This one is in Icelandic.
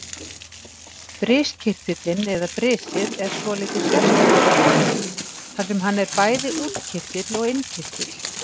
Briskirtillinn eða brisið er svolítið sérstakur kirtill þar sem hann er bæði útkirtill og innkirtill.